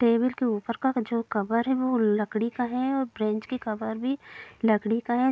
Table के ऊपर का जो कवर है वो लकड़ी का है और बेंच के कवर भी लकड़ी का है।